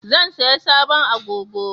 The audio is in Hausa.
Zan saya sabon agogo